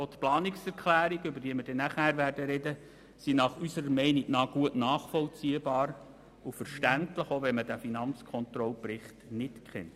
Auch die Planungserklärungen, über die wir nachher sprechen werden, sind unserer Meinung nach gut nachvollziehbar und verständlich, auch ohne Kenntnis des Berichts der Finanzkontrolle.